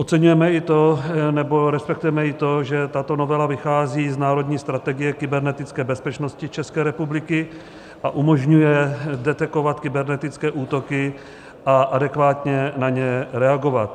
Oceňujeme i to, nebo respektujeme i to, že tato novela vychází z národní strategie kybernetické bezpečnosti České republiky a umožňuje detekovat kybernetické útoky a adekvátně na ně reagovat.